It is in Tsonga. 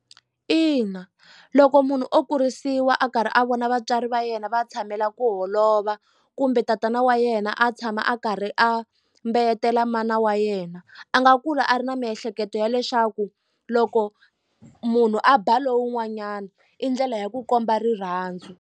Ina loko munhu o kurisiwa a karhi a vona vatswari va yena va tshamela ku holova kumbe tatana wa yena a tshama a karhi a mbeyetela mana wa yena a nga kula a ri na miehleketo ya leswaku loko munhu a ba lowun'wanyana i ndlela ya ku komba rirhandzu.